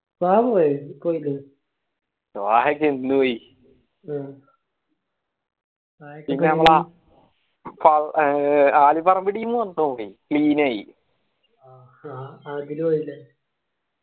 താഹ പോയ ആഹ് ആഹ് ആദിൽ പോയില്ലേ